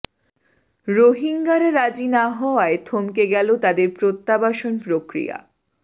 রোহিঙ্গারা রাজি না হওয়ায় থমকে গেল তাদের প্রত্যাবাসন প্রক্রিয়া